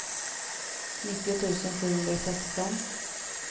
nittio tusen sjuhundrasexton